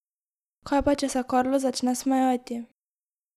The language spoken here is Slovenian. Kaj pa, če se Karlo začne smejati?